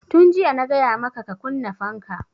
Tun jiya na gaya maka ka kunna fanka!